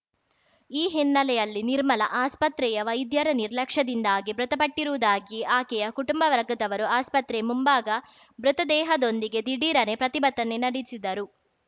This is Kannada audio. ಈ ಹಿನ್ನಲೆಯಲ್ಲಿ ನಿರ್ಮಲ ಆಸ್ಪತ್ರೆಯ ವೈದ್ಯರ ನಿರ್ಲಕ್ಷ್ಯದಿಂದಾಗಿ ಮೃತಪಟ್ಟಿರುವುದಾಗಿ ಆಕೆಯ ಕುಟುಂಬ ವರ್ಗದವರು ಆಸ್ಪತ್ರೆ ಮುಂಭಾಗ ಮೃತ ದೇಹದೊಂದಿಗೆ ದಿಢೀರನೆ ಪ್ರತಿಭಟನೆ ನಡೆಸಿದರು